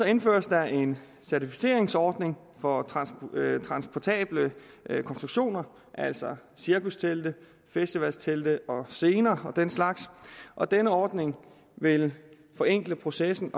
indføres der en certificeringsordning for transportable konstruktioner altså cirkustelte festivaltelte og scener og den slags og denne ordning vil forenkle processen